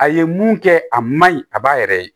A ye mun kɛ a man ɲi a b'a yɛrɛ ye